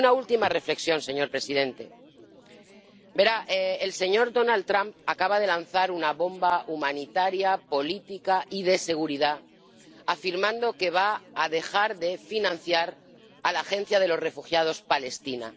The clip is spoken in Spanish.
Y una última reflexión, señor presidente verá, el señor Donald Trump acaba de lanzar una bomba humanitaria política y de seguridad, afirmando que va a dejar de financiar a la agencia de los refugiados palestina.